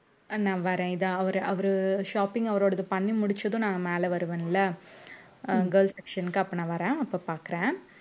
நான் வரேன் இதா அவரு அவரு shopping அவரோடது பண்ணி முடிச்சதும் நான் மேல வருவேன்ல அஹ் girls section க்கு அப்ப நான் வர்றேன் அப்ப பாக்கறேன்